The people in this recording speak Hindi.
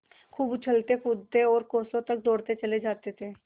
खूब उछलतेकूदते और कोसों तक दौड़ते चले जाते थे